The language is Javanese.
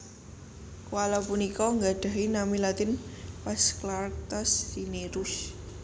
Koala punika nggadhahi nami latin Phasclarctas Cinereus